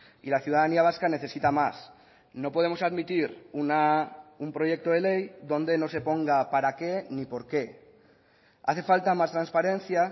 y la ciudadanía vasca necesita más no podemos admitir un proyecto de ley donde no se ponga para qué ni porqué hace falta más transparencia